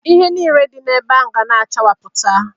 Ihe nile dị ebe ahụ ga na-achawapụ.